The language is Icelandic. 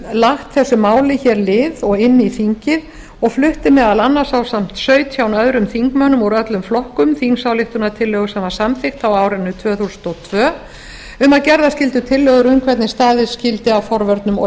lagt þessu máli lið og inn í þingið og flutti meðal annars ásamt sautján öðrum þingmönnum úr öllum flokkum þingsályktunartillögu sem var samþykkt á árinu tvö þúsund og tvö um gerðar skyldu tillögur um hvernig staðið skyldi að forvörnum og